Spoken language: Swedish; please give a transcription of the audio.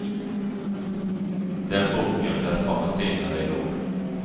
Den boken lär komma senare i år.